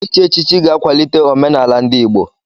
Ichi echichi ga-akwalite omenala ndị Igbo.